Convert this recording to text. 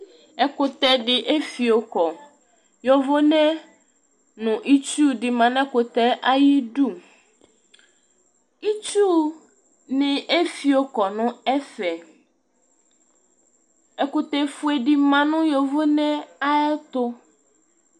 ɛkutɛdi efio kɔ yovone nu itsudi ma nɛkutɛ ayidu itsu ni efiokɔ nu ɛfɛ ɛkutɛ fue di ma nu yovone ayɛ tu